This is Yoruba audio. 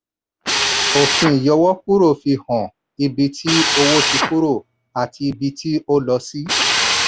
òfin ìyọwókúrò fi hàn ibi tí owó ti kúrò àti ibi tí ó lọ sí.